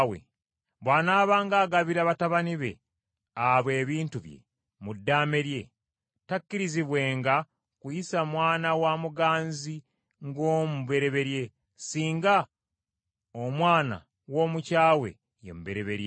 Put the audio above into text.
bw’anaabanga agabira batabani be abo ebintu bye mu ddaame lye, takkirizibwenga kuyisa mwana wa muganzi ng’omubereberye, singa omwana w’omukyawe ye mubereberye.